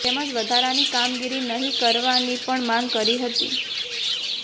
તેમજ વધારાની કામગીરી નહી કરવાની પણ માંગ કરી હતી